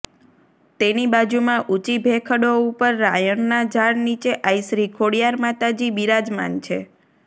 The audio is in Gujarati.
તેની બાજુમાં ઊંચી ભેખડો ઉપર રાયણનાં ઝાડ નીચે આઈ શ્રી ખોડિયાર માતાજી બિરાજમાન છે